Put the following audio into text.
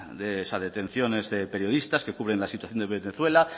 de esas detenciones de periodistas que cubren la situación de venezuela